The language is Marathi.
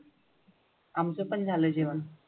आमचं पण झालं जेवण.